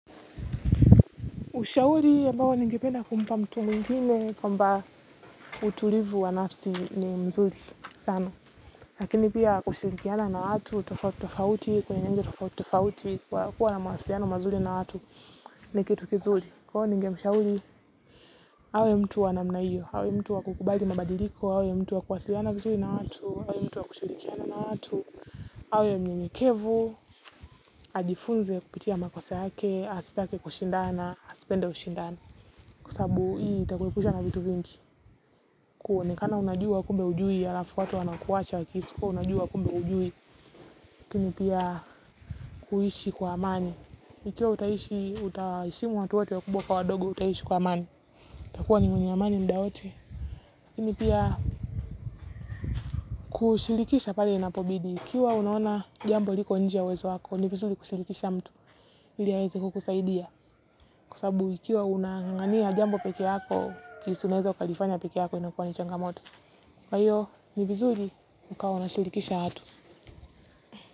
Ushauri ya ambao ningependa kumpa mtu mwingine kwamba utulivu wa nafsi ni mzuri sana. Lakini pia kushirikiana na watu tofauti tofauti kwenye nje tofauti tofauti kwa kuwa na mawasiliano mazuri na watu ni kitu kizuri. Kwa hivyo ningemshauri, awe mtu wa namna hiyo, awe mtu wa kukubali mabadiliko, awe mtu wakuashiriana vizuri na watu, awe mtu wakushirikiana na watu, awe mnyenyekevu, ajifunze kupitia makosa yake, asitake kushindana, asipende ushindani kwa sababu hii itakuepusha na vitu vingi kuonekana unajua kumbe hujui ya alafu watu wanakuacha unajua kumbe hujui lakini piya kuishi kwa amani ikiwa utaheshimu watu wote wakubwa kwa wadogo utaishi kwa amani utakuwa ni mwenye amani mdaa wote lakini piya kushirikisha pale inapobidi ukiwa una ona jambo liko inje ya uwezo wako ni vizuri kushirikisha mtu ili aweze kukusaidiya kwa sababu ukiwa unanganganiya jambo peke yako jinsi unaweza lifanya peke yako inakuwa ni changamoto kwa hiyo ni vizuri ukawa unawashirikisha watu.